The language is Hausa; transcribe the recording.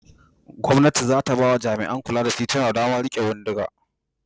Gwamnati za ta ba wa jami'an kula da tituna damar riƙe bindiga.